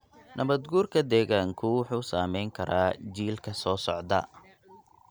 Nabaad-guurka deegaanku wuxuu saamayn karaa jiilka soo socda.